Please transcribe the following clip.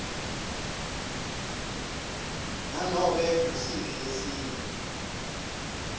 nanobe ngusiphi lesinye